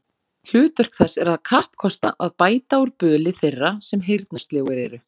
Hlutverk þess er að kappkosta að bæta úr böli þeirra, sem heyrnarsljóir eru